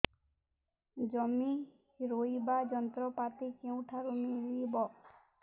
ଜମି ରୋଇବା ଯନ୍ତ୍ରପାତି କେଉଁଠାରୁ ମିଳିବ